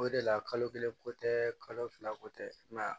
O de la kalo kelen ko tɛ kalo fila ko tɛ